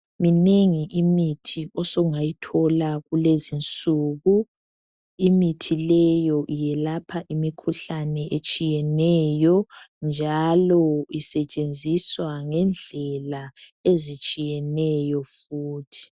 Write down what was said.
Minengi imithi osungayithola kulezinsuku imithi leyo eyelapha imikhuhlane etshiyeneyo njalo isetshenziswa ngendlela ezitshiyeneyo futhi.